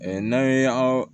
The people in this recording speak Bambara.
n'an ye an